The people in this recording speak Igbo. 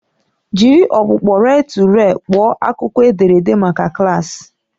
Jiri ọkpụkpọ rel-to-rel kpọọ akụkọ edere maka klaasị